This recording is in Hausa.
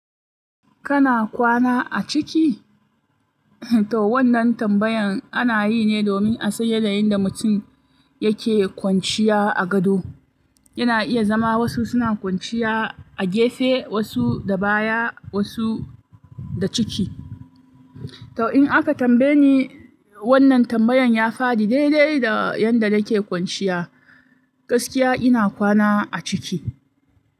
Kana kwana a ciki? To wannan tambayan ana yi ne domin a san yana yinda mutum yake kwanciya a gado. Yana iya zama wasu suna kwanciya a gefe, wasu da baya, wasu da ciki. To in aka tambaye ni, wannan tambayan ya faɗi daidai da yanda nake kwanciya. Gaskiya ina kwana a ciki.